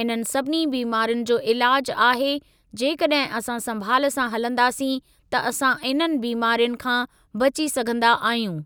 इन्हनि सभिनी बीमारियुनि जो ईलाजु आहे जेकॾहिं असां संभाल सां हलंदासीं त असां इन्हनि बीमारियुनि खां बची सघंदा आहियूं।